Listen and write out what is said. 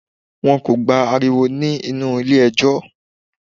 Wọn kò gba ariwo nínú ilé ẹjọ́